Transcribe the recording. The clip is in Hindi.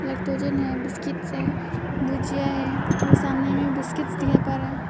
लैक्टोजन बिस्किट्स है भुजिया है और सामने में बिस्कुट रहे है।